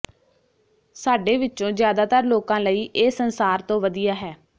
ਸਾਡੇ ਵਿਚੋਂ ਜ਼ਿਆਦਾਤਰ ਲੋਕਾਂ ਲਈ ਇਹ ਸੰਸਾਰ ਤੋਂ ਵਧੀਆ ਹੈ